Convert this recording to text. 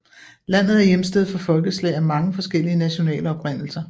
Landet er hjemsted for folkeslag af mange forskellige nationale oprindelser